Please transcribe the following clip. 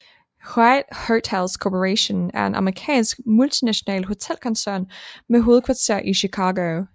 Hyatt Hotels Corporation er en amerikansk multinational hotelkoncern med hovedkvarter i Chicago